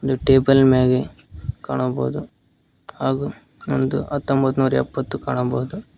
ಇದು ಟೇಬಲ್ ಮ್ಯಾಗೆ ಕಾಣಬಹುದು ಹಾಗೂ ಒಂದ್ ಹತ್ತೊಂಭತ್ತ್ ನೂರ್ ಎಪ್ಪತ್ತು ಕಾಣಬಹುದು.